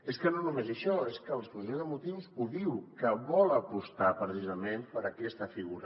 és que no només això és que l’exposició de motius ho diu que vol apostar precisament per aquesta figura